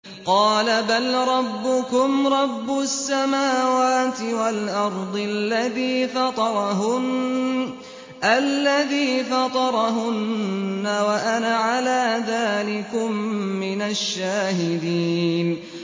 قَالَ بَل رَّبُّكُمْ رَبُّ السَّمَاوَاتِ وَالْأَرْضِ الَّذِي فَطَرَهُنَّ وَأَنَا عَلَىٰ ذَٰلِكُم مِّنَ الشَّاهِدِينَ